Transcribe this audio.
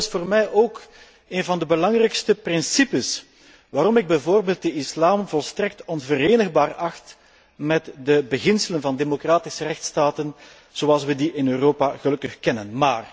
Dat is trouwens voor mij ook een van de belangrijkste redenen waarom ik bijvoorbeeld de islam volstrekt onverenigbaar acht met de beginselen van de democratische rechtsstaat zoals wij die in Europa gelukkig kennen.